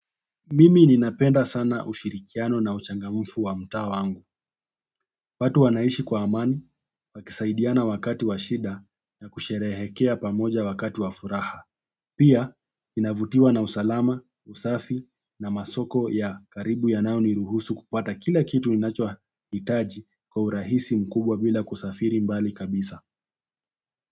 Mimi ninapenda sana ushirikiano na uchangamfu wa mta wangu. Watu wanaishi kwa amani, na kusaidiana wakati wa shida na kusherehekea pamoja wakati wafuraha. Pia, inavutiwa na usalama, usafi na masoko ya karibu yanayo niruhusu kupata kila kitu ninacho hitaji kwa urahisi mkubwa bila kusafiri mbali kabisa.